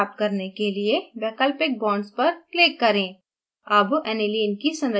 benzene संरचना प्राप्त करने के लिए वैकल्पिक बाँड्स पर click करें